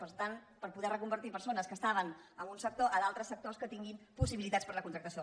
per tant per poder reconvertir persones que estaven en un sector a d’altres sectors que tinguin possibilitats per a la contractació